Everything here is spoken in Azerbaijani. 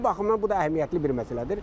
Bu baxımdan bu da əhəmiyyətli bir məsələdir.